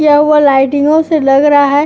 क्या हुआ लाइटिंगों से लग रहा है।